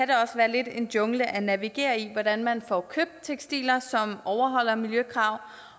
lidt af en jungle at navigere i hvordan man får købt tekstiler som overholder miljøkrav